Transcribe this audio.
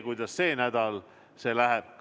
Kuidas see sel nädalal läheb ...